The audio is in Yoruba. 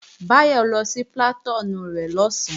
Báyọ̀ lọ sí plàtúùnù rẹ̀ lọ̀sán